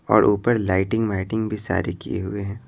और ऊपर लाइटिंग माइटिंग भी सारी किए हुए हैं।